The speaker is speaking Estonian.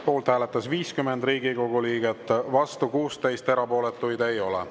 Poolt hääletas 50 Riigikogu liiget, vastu 16, erapooletuid ei ole.